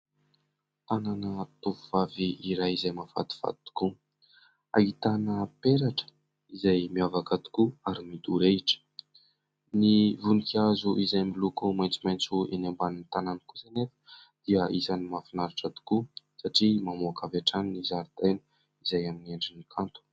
Tanana tovovavy iray izay mahafatifaty tokoa, ahitana peratra izay miavaka tokoa ary midorehitra. Ny voninkazo izay miloko maitsomaitso eny ambanin'ny tanany kosa anefa dia isany mahafinaritra tokoa satria mamoaka avy hatrany ny zaridaina izay amin’ny endriny kanto.